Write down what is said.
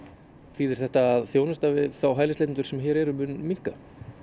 þýðir þetta að þjónusta við þá hælisleitendur sem hér eru mun minnka